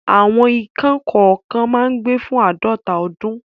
Àwọn ikán kọ̀ọ̀kan máa ń gbé fún àádọ́ta ọdún.